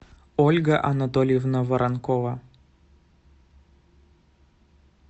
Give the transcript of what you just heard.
ольга анатольевна воронкова